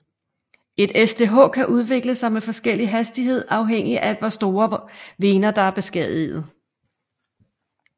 Et SDH kan udvikle sig med forskellig hastighed afhængigt af hvor store vener der er beskadigede